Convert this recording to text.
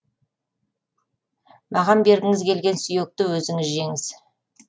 маған бергіңіз келген сүйекті өзіңіз жеңіз